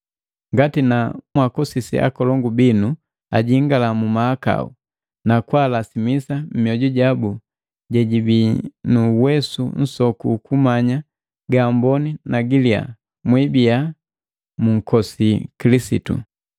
Ngati na mwaakosisi akalongu binu ajingala mu mahakau, nakaahumisa mioju jabu jejibii nu nuwesu nsoku ukumanya ga amboni na giliya, mwibiya munkosi Kilisitu.